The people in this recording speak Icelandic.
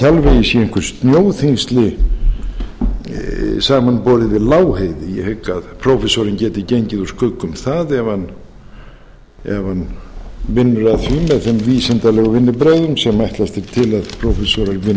séu einhver snjóþyngsli samanborið við lágheiði ég hygg að prófessorinn geti gengið úr skugga um það ef hann vinnur að því með þeim vísindalegu vinnubrögðum sem ætlast er til að prófessorar